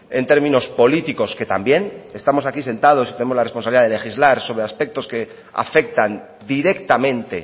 en términos políticos que también estamos aquí sentados y tenemos la responsabilidad de legislar sobre aspectos que afectan directamente